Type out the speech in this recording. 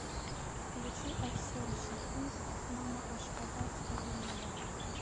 включи арсен шахунц мама ашхабад скажи мне да